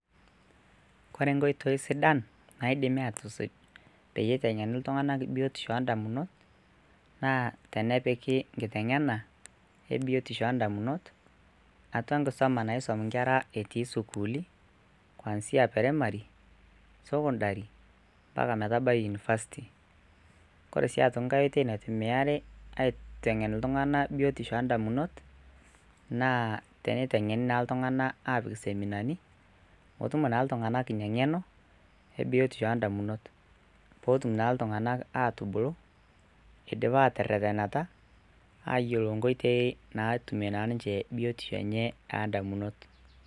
kore nkoitoi sidan naidimi atusuj peyie iteng'eni iltung'anak biotisho ondamunot naa tenepiki nkiteng'ena ebiotisho ondamunot atua nkisuma naisum inkera etii sukuuli kwanzia primary, sokondari mpaka metabai university kore sii aitoki nkae oitoi naitumiari aiteng'en iltung'anak biotisho ondamunot naa teneteng'eni naa iltung'anak apik iseminani motumo naa iltung'anak inia ng'eno ebiotisho ondamunot pootum naa iltung'anak atubulu idipa aterretanata ayiolou nkoitoi natumie naa ninche biotisho enye andamunot.